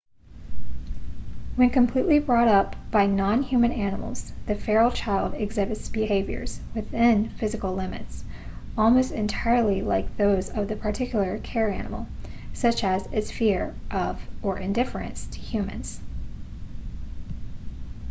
when completely brought up by non-human animals the feral child exhibits behaviors within physical limits almost entirely like those of the particular care-animal such as its fear of or indifference to humans